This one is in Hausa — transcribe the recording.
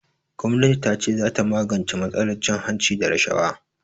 Gwamnatin tace zata magance matsalar cin hanci da rashawa.